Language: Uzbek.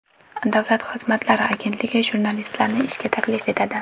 Davlat xizmatlari agentligi jurnalistlarni ishga taklif etadi.